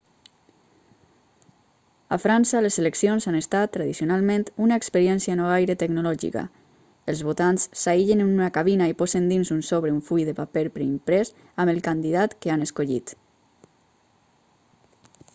a frança les eleccions han estat tradicionalment una experiència no gaire tecnològica els votants s'aïllen en una cabina i posen dins un sobre un full de paper preimprès amb el candidat que han escollit